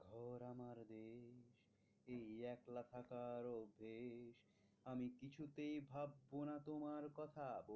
থাকার অভ্যেস আমি কিছুতেই ভাববো না তোমার কথা